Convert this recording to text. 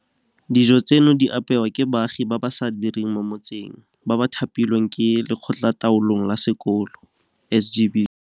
Dijo tseno di apewa ke baagi ba ba sa direng mo motseng, ba ba thapilweng ke Lekgotlataolong la Sekolo, SGB.